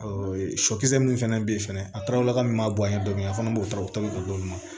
sɔkisɛ minnu fɛnɛ bɛ yen fɛnɛ a tɔrɔlaka min b'a bɔ yan dɔɔni a fana b'o taw ta k'olu d'olu ma